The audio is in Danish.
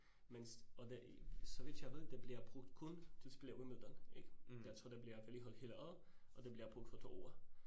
Men og det, så vidt jeg ved det bliver brugt kun til spille Wimbledon ik? Jeg tror det bliver vedligeholdt hele året, og det bliver brugt for 2 uger